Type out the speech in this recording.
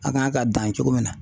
A kan k'a dan cogo min na.